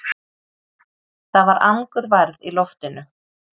Það var angurværð í loftinu.